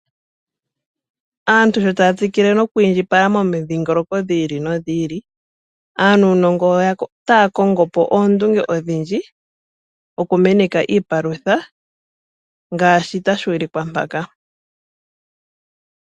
Aantu sho taya tsikile noku indjipala momidhingoloko dhetu dhi ili nodhi ili, aanuunongo otaya kongo po oondunge odhindji oku meneka iipalutha ngaashi tashi ulikwa mpaka.